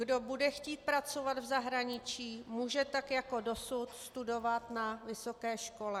Kdo bude chtít pracovat v zahraničí, může tak jako dosud studovat na vysoké škole.